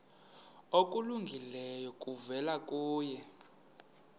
okulungileyo kuvela kuye